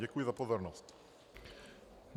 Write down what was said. Děkuji za pozornost.